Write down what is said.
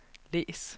læs